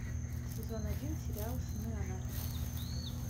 сезон один сериал сыны анархии